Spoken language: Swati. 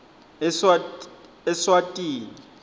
eswatini